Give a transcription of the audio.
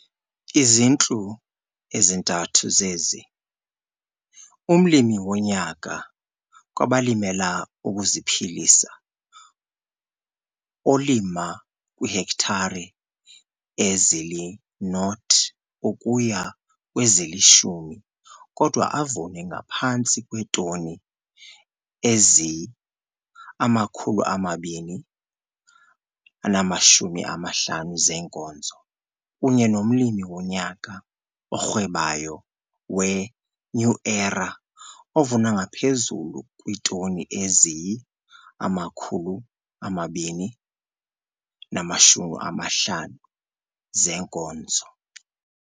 Izintlu ezintathu zezi. UmLimi woNyaka kwabaLimela ukuziPhilisa, olima kwiihektare ezili-0 ukuya kwezili-10, kodwa avune ngaphantsi kweetoni eziyi-250 zeenkozo, kunye nomLimi woNyaka oRhwebayo weNew Era, ovuna ngaphezulu kwiitoni eziyi-250 zeenkozo.